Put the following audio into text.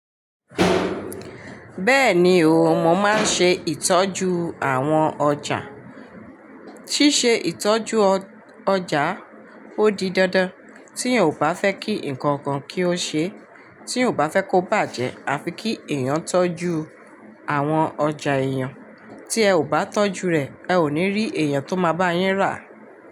Bẹ́ẹ̀ni o, mo máa ń ṣe ìtọ́jú àwọn ọjà. Síse ìtọ́jú ọ ọjà ó di dandan, tíyan ò bá fẹ́ kí nǹkan kan kí ó ṣe e, tíyan ò bá fẹ́ kó bàjẹ́, afi kí èèyàn tọ́jú àwọn ọjà èèyàn. Tí ẹ ò bá tọ́jú rẹ̀, ẹ ò ní rí èèyàn tó máa bá yín rà.